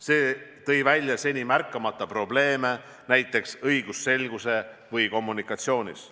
See tõi välja seni märkamata probleeme näiteks õigusselguses või kommunikatsioonis.